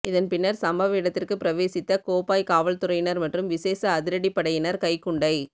இதன்பின்னர் சம்பவ இடத்திற்கு பிரவேசித்த கோப்பாய் காவற்துறையினர் மற்றும் விஷேட அதிரடிப்படையினர் கைக்குண்டை